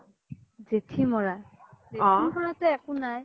জেথি মৰা, জেথি মৰাতো একো নাই